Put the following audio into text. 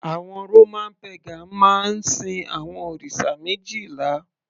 àwọn Roman pagan máa ń sin àwọn òrìṣà méjìlá